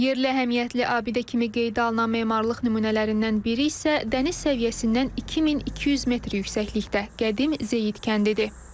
Yerli əhəmiyyətli abidə kimi qeydə alınan memarlıq nümunələrindən biri isə dəniz səviyyəsindən 2200 metr yüksəklikdə qədim Zeyid kəndidir.